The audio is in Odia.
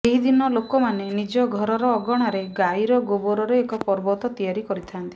ଏହି ଦିନ ଲୋକମାନେ ନିଜ ଘରର ଅଗଣାରେ ଗାଈର ଗୋବରରେ ଏକ ପର୍ବତ ତିଆରି କରିଥାନ୍ତି